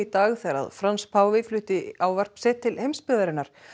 dag þegar Frans páfi flutti ávarp sitt til heimsbyggðarinnar